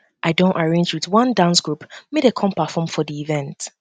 i don arrange wit one dance group make dem perform for di event